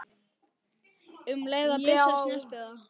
um leið og byssa snertir það.